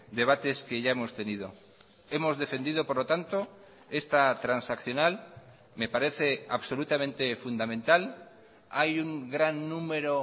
debates que ya hemos tenido hemos defendido por lo tanto esta transaccional me parece absolutamente fundamental hay un gran número